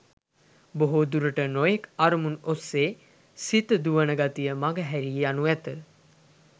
බොහෝ දුරට නොයෙක් අරමුණු ඔස්සේ සිත දුවන ගතිය මඟ හැරී යනු ඇත.